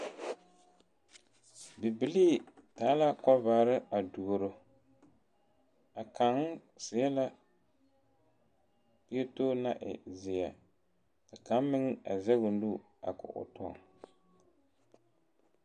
Bibilii taa la kɔvare a duoro a kaŋ seɛ la pieto naŋ e zeɛ ka kaŋ meŋ a zɛge o nu a ko o tɔ.